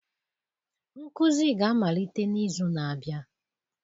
nkuzi ga-amalite n'izu na-abịa!